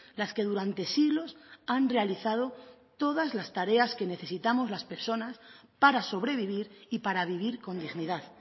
las que durante siglos han realizado todas las tareas que necesitamos las personas para sobrevivir y para vivir con dignidad